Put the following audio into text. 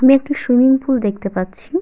আমি একটি swimming pool দেখতে পাচ্ছি।